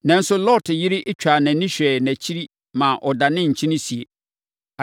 Nanso, Lot yere twaa nʼani hwɛɛ nʼakyiri ma ɔdanee nkyene esie.